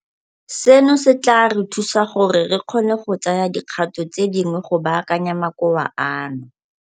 Seno se tla re thusa gore re kgone go tsaya dikgato tse dingwe go baakanya makoa ano.